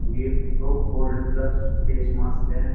ये तो gold plus face mask है।